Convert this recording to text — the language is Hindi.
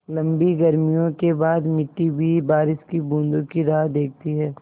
लम्बी गर्मियों के बाद मिट्टी भी बारिश की बूँदों की राह देखती है